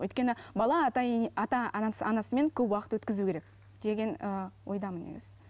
өйткені бала ата ене ата анасы анасымен көп уақыт өткізу керек деген ііі ойдамын негізі